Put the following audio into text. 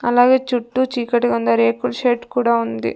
అలాగే చుట్టూ చీకటిగా ఉంది ఆ రేకుల్ షెడ్ కూడా ఉంది.